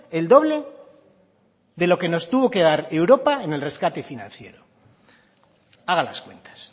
el doble de lo que nos tuvo que dar europa en el rescate financiero haga las cuentas